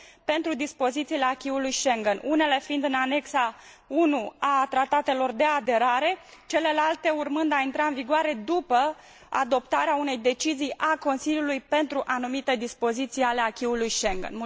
pentru dispozițiile acquis ului Schengen, unele fiind în anexa I a tratatelor de aderare, celelalte urmând a intra în vigoare după adoptarea unei decizii a Consiliului pentru anumite dispoziții ale acquis ului Schengen.